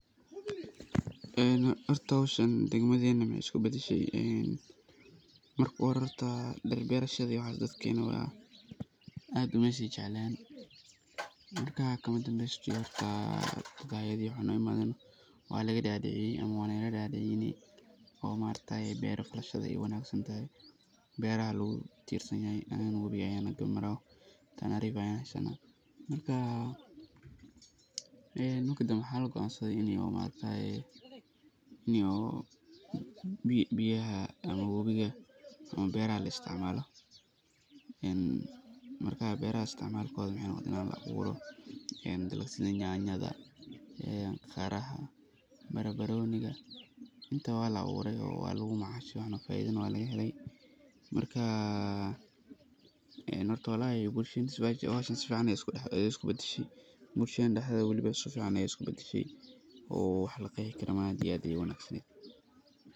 Horta howshan degmadena waxey isku badashe oo dadkena dhul berashada aad umeey si jeclen. Marka kama danbeysadhi horto hayada iyo waxa aa ino imaden walaga dadicine mise wey naga dadiciyen. Iney beera berashada aay wanagsan tahay oo wabi nagarab maro oo aad u wanagsantahay ,marka waxa la goan saday ini berahaa la aa buro oo wabiga laistic malo wabiga ,sidha yanyada, qaraha, barbaroniga intaba waa la aburaay oo waa lagu macashe oo faiddana laga helay. Marka howsha si fican bey isku bedeshe oo bulshadena dexdedha si fican beey isku bedeshe ,oo wax laqexi karaa maahan oo aad iyo ayey u wanag saned.